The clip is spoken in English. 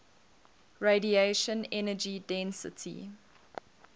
radiation energy density